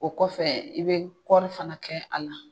O kɔfɛ i bɛ kɔɔrifana kɛ a la